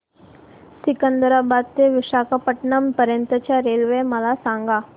सिकंदराबाद ते विशाखापट्टणम पर्यंत च्या रेल्वे मला सांगा